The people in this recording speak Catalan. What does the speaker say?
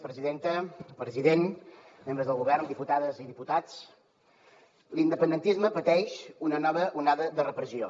president membres del govern diputades i diputats l’independentisme pateix una nova onada de repressió